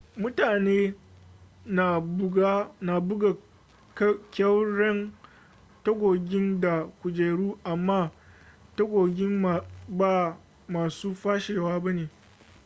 mutane na buga ƙyauren tagogin da kujeru amma tagogin ba masu fashewa ba ne